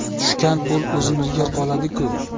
Tushgan pul o‘zimizga qoladi-ku.